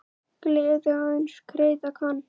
Gleði aðeins greiða kann.